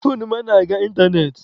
Foonu m anaghị aga ịntanetị.